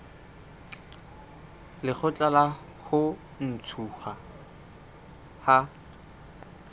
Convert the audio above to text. lekgotla la ho ntshuwa ha